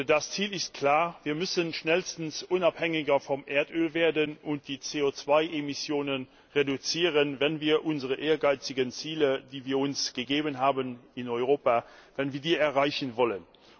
Das Ziel ist klar Wir müssen schnellstens unabhängiger vom Erdöl werden und die CO 2 Emissionen reduzieren, wenn wir unsere ehrgeizigen Ziele, die wir uns in Europa gesetzt haben, erreichen wollen.